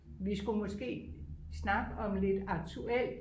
vi skulle måske snakke om lidt aktuelt